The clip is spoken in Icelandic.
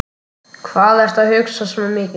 Sumir reyna líka endalaust að fresta öllum málum.